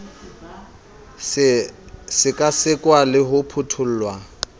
se sekasekwa le ho phuthollwa